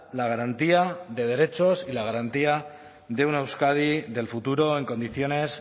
la garantía de derechos y la garantía de una euskadi del futuro en condiciones